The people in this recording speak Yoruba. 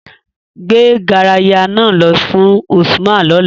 Gbe garaya naa lọ fun Usman lọla!